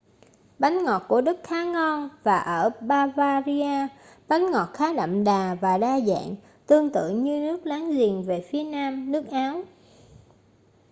bánh ngọt của đức khá ngon và ở bavaria bánh ngọt khá đậm đà và đa dạng tương tự như nước láng giềng về phía nam nước áo